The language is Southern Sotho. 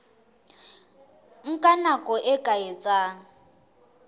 nka nako e ka etsang